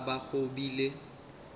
go ka ba go bile